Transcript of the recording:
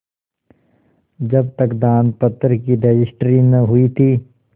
जब तक दानपत्र की रजिस्ट्री न हुई थी